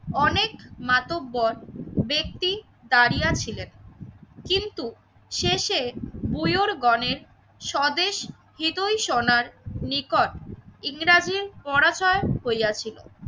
অনেক মাতব্বর ব্যক্তি দাঁড়িয়ে ছিলেন কিন্তু শেষে বুয়োর গণের স্বদেশ সোনার নিকট ইংরেজি পরাজয় হইয়াছিল।